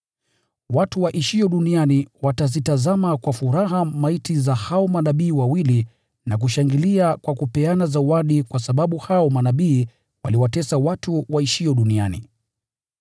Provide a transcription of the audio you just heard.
Watu waishio duniani watazitazama kwa furaha maiti za hao manabii wawili na kushangilia kwa kupeana zawadi kwa sababu hao manabii waliwatesa watu waishio duniani.